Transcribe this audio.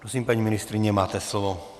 Prosím, paní ministryně, máte slovo.